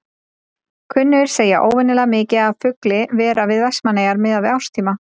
Kunnugir segja óvenjulega mikið af fugli vera við Vestmannaeyjar miðað við árstíma.